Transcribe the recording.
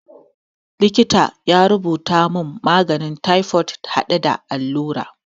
Likitan ya rubuta mun maganin taifod hade da allura